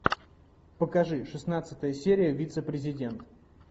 покажи шестнадцатая серия вице президент